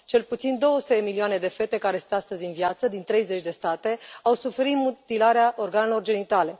Cel puțin 200 de milioane de fete care sunt astăzi în viață, din 30 de state, au suferit mutilarea organelor genitale.